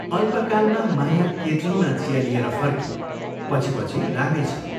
अल्पकालमा माया केतलीमा चिया लिएर फर्की पछि पछि रामे छ।